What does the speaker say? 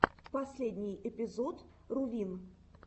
последний эпизод рувин